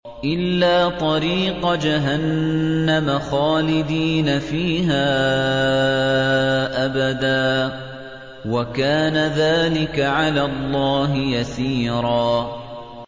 إِلَّا طَرِيقَ جَهَنَّمَ خَالِدِينَ فِيهَا أَبَدًا ۚ وَكَانَ ذَٰلِكَ عَلَى اللَّهِ يَسِيرًا